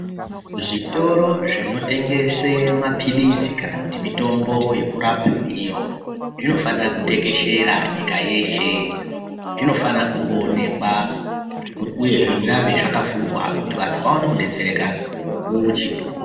Zvitoro zvinotengese mapirizi kana kuti mitombo yekurapa ndiyo zvinofanira kutekeshera nyika yeshe. Zvinofana kungoonekwa, uyezve zvirambe zvakavhurwa kuti vantu vaone kudetsereka mukuwo uchipo.